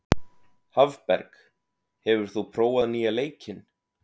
Hafberg, hefur þú prófað nýja leikinn?